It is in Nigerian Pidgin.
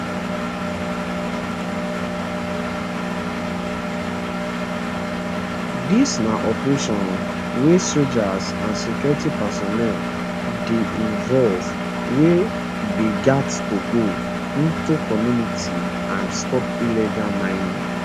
dis na operation wia soldiers and security personnel dey involve wey dey gat to go into communities and stop illegal mining